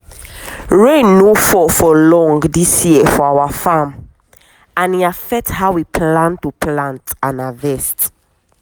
rain no fall for long this year for our farm and e affect how we plan to plant and harvest.